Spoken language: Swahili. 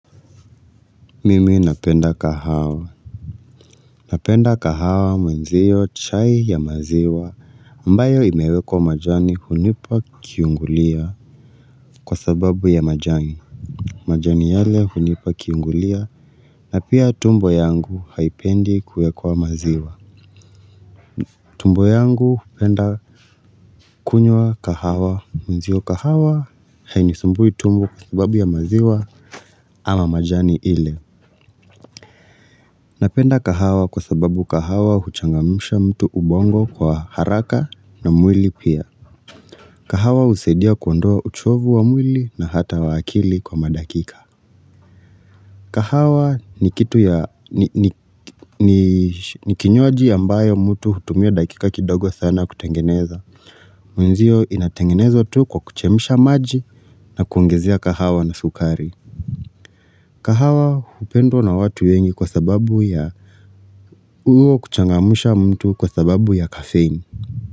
Mimi napenda kahawa Napenda kahawa mwenzio chai ya maziwa ambayo imewekwa majani hunipa kiungolio kwa sababu ya majani majani yale hunipa kiungulia na pia tumbo yangu haipendi kuekwa maziwa tumbo yangu penda kunywa kahawa mwenzio kahawa ainisumbui tumbo kwa sababu ya maziwa ama majani ile Napenda kahawa kwa sababu kahawa huchangamusha mtu ubongo kwa haraka na mwili pia. Kahawa usaidia kuondoa uchovu wa mwili na hata wa akili kwa madakika. Kahawa ni kitu ya ni kinyuaji ambayo mtu hutumio dakika kidogo sana kutengeneza. Mwenzio inatengenezwa tu kwa kuchemsha maji na kuongezea kahawa na sukari. Kahawa upendo na watu wengi kwa sababu ya huo kuchangamsha mtu kwa sababu ya kafein.